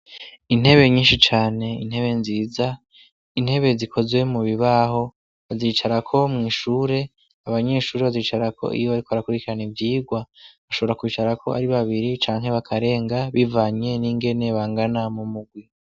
Intebe nyinshi cane, intebe nziza ,intebe zikozwe mu bibaho bazicarako mw' ishure abanyeshuri bazicarako iyo bariko barakurikirana ivyigwa, bashobora kwicarako ari babiri cane bakarenga bivanye n'ingene bangana mu murwi